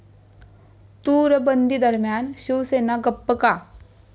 तूर बंदीदरम्यान शिवसेना गप्प का?